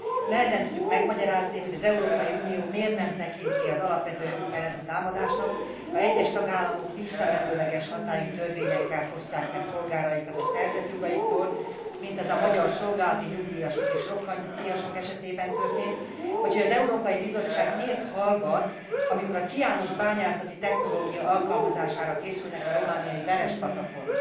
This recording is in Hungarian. Nehezen tudjuk megmagyarázni, hogy az Európai Unió miért nem tekinti az alapvető jogok elleni támadásnak, ha egyes tagállamok visszamenőleges hatályú törvényekkel fosztják meg polgáraikat a szerzett jogaiktól, mint az magyar szolgálati nyugdíjasok és rokkant nyugdíjasok esetében történt, vagy hogy az Európai Bizottság miért hallgat, amikor a ciános bányászati technológia alkalmazására készülnek a romániai Verespatakon.